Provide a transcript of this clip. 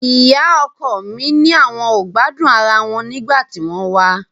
Ìyá ọkọ mi ni àwọn ò gbádùn ara wọn nígbà tí wọ́n wá